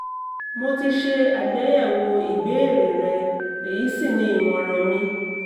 mo ti ṣe àgbéyẹ̀wò ìbéèrè rẹ èyí sì ni ìmọ̀ràn mi